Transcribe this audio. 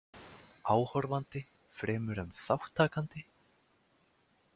Áhorfandi fremur en þátttakandi?